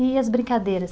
E as brincadeiras?